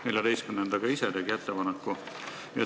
14. ettepaneku tegi komisjon ise.